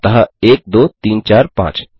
अतः 1 2 3 4 5